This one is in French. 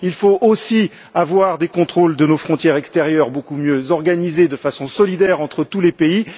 il faut aussi avoir des contrôles de nos frontières extérieures beaucoup mieux organisés, de façon solidaire, entre tous les pays.